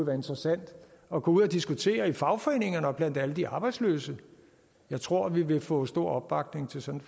være interessant at gå ud og diskutere det i fagforeningerne og blandt alle de arbejdsløse jeg tror vi ville få stor opbakning til sådan